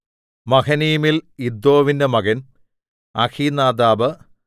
മഹനയീമിൽ ഇദ്ദോവിന്റെ മകൻ അഹീനാദാബ്